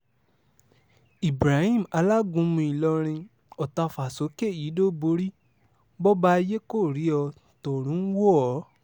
ibrahim alágúnmu ìlọrin ọ̀tàfà-sókè yídó-bòrí bòbà ayé kó rí ó tọrùn ń wò ó